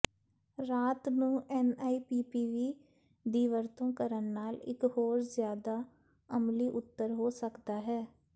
ਰਾਤ ਨੂੰ ਐਨਆਈਪੀਪੀਵੀ ਦੀ ਵਰਤੋਂ ਕਰਨ ਨਾਲ ਇੱਕ ਹੋਰ ਜਿਆਦਾ ਅਮਲੀ ਉੱਤਰ ਹੋ ਸਕਦਾ ਹੈ